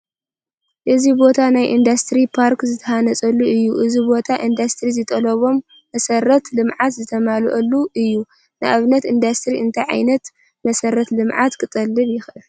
እዚ ቦታ ናይ ኢንዱስትሪ ፓርክ ዝተሃነፀሉ እዩ፡፡ እዚ ቦታ ኢንዱስትሪ ዝጠልቦም መሰረተ ልምዓት ዝተማልአሉ እዩ፡፡ ንኣብነት ኢንዱስትሪ እንታይ ዓይነት መሰረተ ልምዓት ክጠልብ ይኽእል?